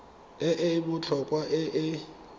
e e botlhokwa e e